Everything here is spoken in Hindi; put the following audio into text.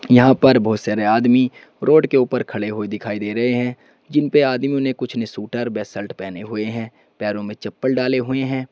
यहां पर बहुत सारे आदमी रोड के ऊपर खड़े हुए दिखाई दे रहे हैं जिन पे आदमियों ने कुछ स्वेटर व शर्ट पहने हुए हैं पैरों में चप्पल डाले हुए हैं।